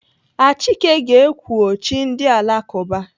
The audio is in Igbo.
Achike ga-ekwu ọ chi ndị Alakụba.